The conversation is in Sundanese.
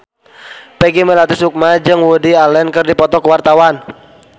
Peggy Melati Sukma jeung Woody Allen keur dipoto ku wartawan